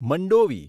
Mandovi